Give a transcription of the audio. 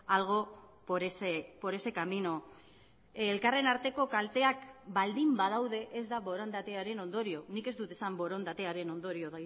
algo por ese camino elkarren arteko kalteak baldin badaude ez da borondatearen ondorio nik ez dut esan borondatearen ondorio